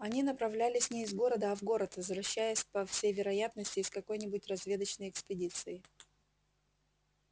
они направлялись не из города а в город возвращаясь по всей вероятности из какой нибудь разведочной экспедиции